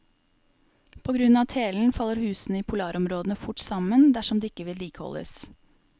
På grunn av telen faller husene i polarområdene fort sammen dersom de ikke vedlikeholdes.